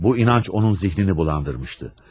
Bu inanc onun zihnini bulandırmışdı.